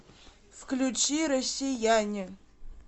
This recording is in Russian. включи россияне